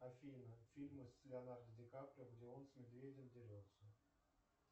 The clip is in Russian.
афина фильмы с леонардо ди каприо где он с медведем дерется